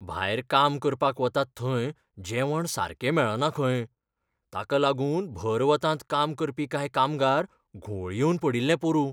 भायर काम करपाक वतात थंय जेवण सारकें मेळना खंय. ताका लागून भर वतांत काम करपी कांय कामगार घुंवळ येवन पडिल्ले पोरूं.